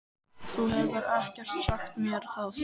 Þú hefur ekkert sagt mér það!